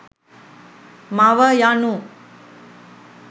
මව යනු